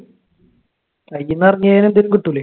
കയ്യിന്ന് ഇറങ്ങിയത് എന്തെങ്കിലും കിട്ടൂലെ?